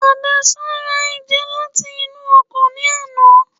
haddasa ra eja lat'inu ọkan ni àná